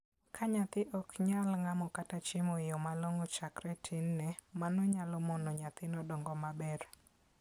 Ka nyathi ok nyal ng'amo kata chiemo e yo malong'o chakre e tinne, mano nyalo mono nyathino dongo maber.